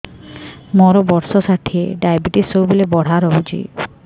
ମୋର ବର୍ଷ ଷାଠିଏ ଡାଏବେଟିସ ସବୁବେଳ ବଢ଼ା ରହୁଛି